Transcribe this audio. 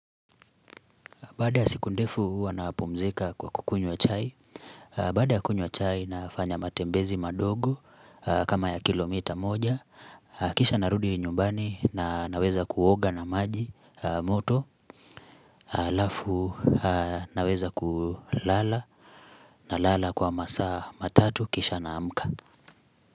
Baada ya siku ndefu wanapumzika kwa kukunywa chai Baada ya kunywa chai nafanya matembezi madogo kama ya kilomita moja Kisha narudi nyumbani na naweza kuoga na maji moto alafu naweza kulala nalala kwa masaa matatu kisha naamka.